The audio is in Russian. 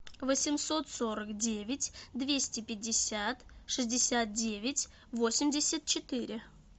восемьсот сорок девять двести пятьдесят шестьдесят девять восемьдесят четыре